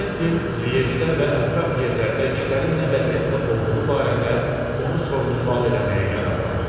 Kventin Liejedə və ətraf yerlərdə işlərin nə vəziyyətdə olduğu barədə onu sorğu-sual eləməyə qərar aldı.